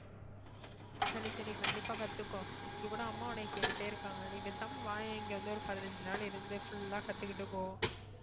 சரி சரி கண்டிப்பா கத்துக்கோ இங்க கூட அம்மா உன்னைய கேட்டுட்டே இருக்காங்க நீ பேசாம வாயேன் இங்க வந்து ஒரு பதினஞ்சு நாள் இருந்து full ஆ கத்துக்கிட்டு போ